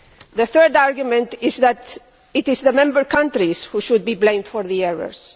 The third argument is that it is the member countries which should be blamed for the errors.